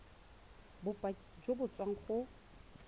bopaki jo bo tswang go